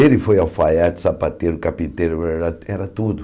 Ele foi alfaiate, sapateiro, carpiteiro, era tudo.